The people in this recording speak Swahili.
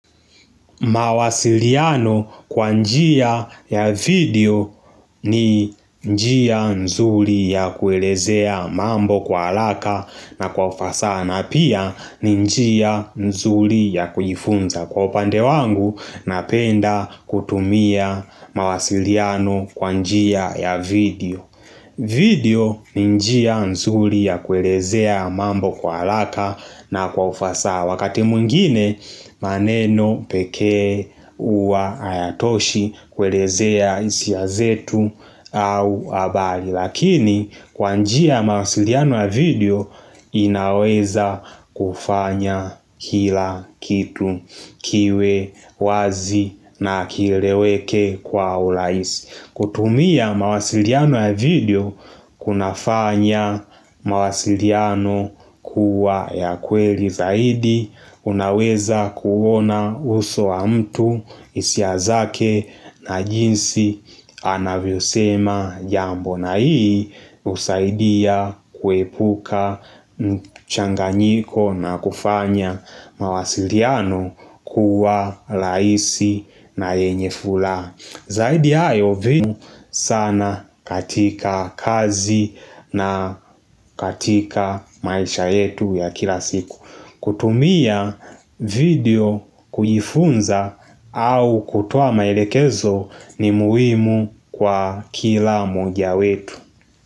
Mawasiliano kwa njia ya video ni njia nzuri ya kuelezea mambo kwa haraka na kwa ufasaha na pia ni njia nzuri ya kujifunza kwa upande wangu napenda kutumia mawasiliano kwa njia ya video video ni njia nzuri ya kuelezea mambo kwa haraka na kwa ufasaha Wakati mwngine maneno pekee huwa hayatoshi kuelezea hisia zetu au habari Lakini kwa njia ya mawasiliano ya video inaweza kufanya kila kitu kiwe wazi na kieleweke kwa urahisi. Kutumia mawasiliano ya video kunafanya mawasiliano kuwa ya kweli zaidi unaweza kuona uso wa mtu hisia zake na jinsi anavyosema jambo na hii husaidia kuepuka mchanganyiko na kufanya mawasiliano kuwa rahisi na enye furaha. Zaidi ya hayo video sana katika kazi na katika maisha yetu ya kila siku. Kutumia video kujifunza au kutoa maelekezo ni muhimu kwa kila mmoja wetu.